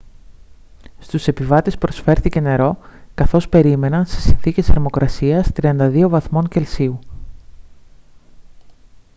στους επιβάτες προσφέρθηκε νερό καθώς περίμεναν σε συνθήκες θερμοκρασίας 32 βαθμών κελσίου